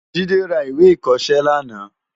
Jide rá iwé ikòsilé làná